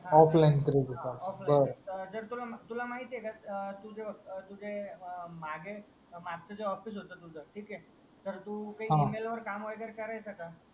तुला महितिह्यक तुज तुजा मागे मागचा जो ऑफीस होता तुझा ठीक हे तर तू हा इमेल वर काम वगैरे करायचा का